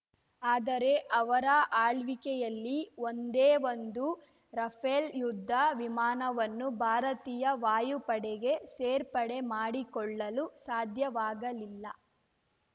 ಆದರೆ ಅವರ ಆಳ್ವಿಕೆಯಲ್ಲಿ ಒಂದೇಒಂದು ರಫೇಲ್ ಯುದ್ಧ ವಿಮಾನವನ್ನು ಭಾರತೀಯ ವಾಯುಪಡೆಗೆ ಸೇರ್ಪಡೆ ಮಾಡಿಕೊಳ್ಳಲು ಸಾಧ್ಯವಾಗಲಿಲ್ಲ